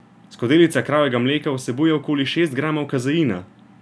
Skodelica kravjega mleka vsebuje okoli šest gramov kazeina.